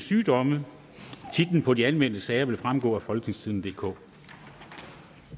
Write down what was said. titlerne på de anmeldte sager vil fremgå af folketingstidende DK